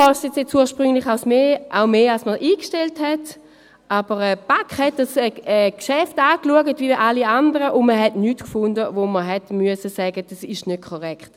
Deswegen kostet es mehr, als man ursprünglich eingestellt hat, aber die BaK schaute dieses Geschäft an wie alle anderen, und man fand nichts, von dem man hätte sagen müssen, es sei nicht korrekt.